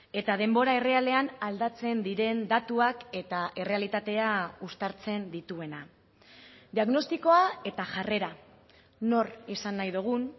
eta denbora errealean aldatzen diren datuak eta errealitatea uztartzen dituena diagnostikoa eta jarrera nor izan nahi dugun